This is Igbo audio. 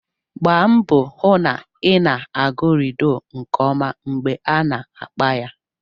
Gbaa mbọ hụ na ị na-agụ ludo nke ọma mgbe a na-agba ya